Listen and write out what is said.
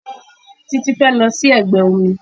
Títí fẹ́ lọ sí ẹgbẹ́ omi